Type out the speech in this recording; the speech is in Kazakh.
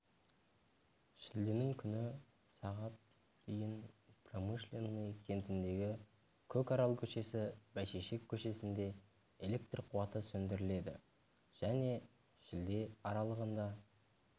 шілденің күні сағат дейін промышленный кентіндегі көкарал көшесі бәйшешек көшесінде электр қуаты сөндіріледі және шілде аралығында